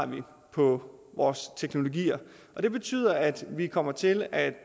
på vores teknologier det betyder at vi kommer til at